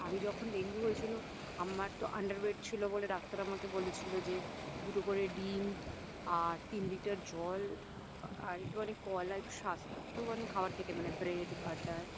আমি যখন ডেঙ্গু হয়েছিল আমার তো Under weight ছিল বলে ডাক্তার আমাকে বলেছিলো যে দুটো করে ডিম আর তিন লিটার জল আর একটু কলা মানে স্বাস্থ্যবান খাবার খেতে মানে Bread butter